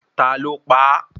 Ta ló pa á?